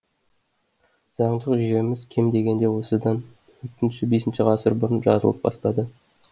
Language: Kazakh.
заңдық жүйеміз кем дегенде осыдан төртінші бесінші ғасыр бұрын жазылып бастады